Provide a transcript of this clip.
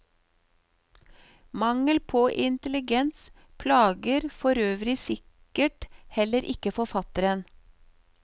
Mangel på intelligens plager forøvrig sikkert heller ikke forfatteren.